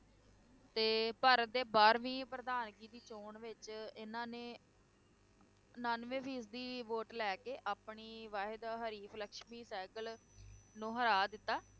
ਤੇ ਭਾਰਤ ਦੇ ਬਾਰਹਵੀਂ ਪ੍ਰਧਾਨਗੀ ਦੀ ਚੋਣ ਵਿੱਚ ਇਨ੍ਹਾਂ ਨੇ ਉਨਾਨਵੇਂ ਫੀਸਦੀ vote ਲੈ ਕੇ ਆਪਣੀ ਵਾਹਿਦ ਹਰੀਫ਼ ਲਕਸ਼ਮੀ ਸਹਿਗਲ ਨੂੰ ਹਰਾ ਦਿੱਤਾ,